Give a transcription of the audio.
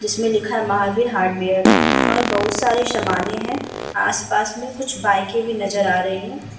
जिसमे लिखा है महावीर हार्डवेयर और बहुत सारे समाने है आस-पास में कुछ बाइके भी नजर आ रही है।